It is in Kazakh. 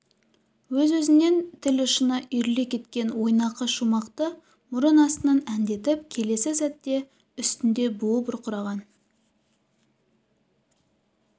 өз-өзінен тіл ұшына үйіріле кеткен ойнақы шумақты мұрын астынан әндетіп келесі сәтте үстінде буы бұрқыраған